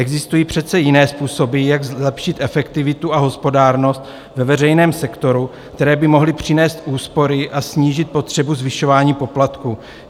Existují přece jiné způsoby, jak zlepšit efektivitu a hospodárnost ve veřejném sektoru, které by mohly přinést úspory a snížit potřebu zvyšování poplatků.